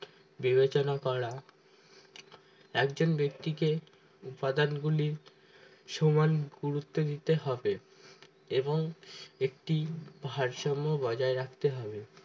বিবেচনা করা একজন ব্যক্তিকে উপাদানর গুলি সমান গুরুত্ব দিতে হবে এবং একটি ভারসাম্য বজায় রাখতে হবে